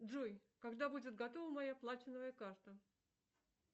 джой когда будет готова моя платиновая карта